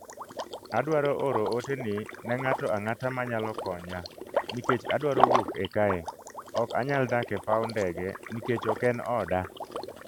Adwaro oro ote ni ne ng’ato ang’ata ma nyalo konya, nikech adwaro wuok e kae...ok anyal dak e paw ndege nikech ok en oda